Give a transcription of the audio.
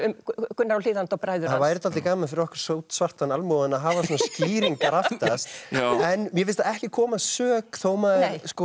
Gunnar á Hlíðarenda og bræður hans það væri dálítið gaman fyrir okkur almúgann að hafa svona skýringar aftast en mér finnst það ekki koma að sök þó maður